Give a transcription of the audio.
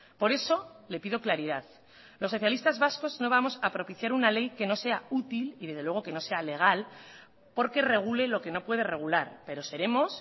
por eso le pido claridad los socialistas vascos no vamos a propiciar una ley que no sea útil y desde luego que no sea legal porque regule lo que no puede regular pero seremos